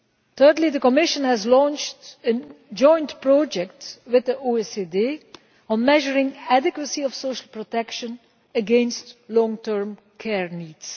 Thirdly, the Commission has launched a joint project with the OECD on measuring the adequacy of social protection against long term care needs.